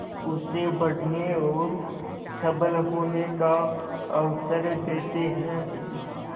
उसे बढ़ने और सबल होने का अवसर देते हैं